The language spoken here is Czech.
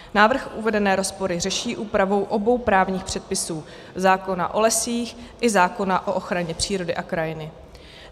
Návrh uvedené rozpory řeší úpravou obou právních předpisů - zákona o lesích i zákona o ochraně přírody a krajiny.